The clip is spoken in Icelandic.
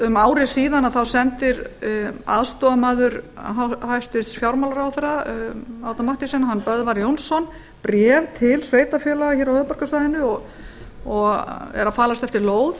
um ári síðan sendir aðstoðarmaður hæstvirtur fjármálaráðherra árna mathiesen böðvar jónsson bréf til sveitarfélaga á höfuðborgarsvæðinu og er að falast eftir lóð